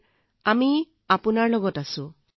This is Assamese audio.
ছাৰ আমি আপোনাৰ লগত আছোঁ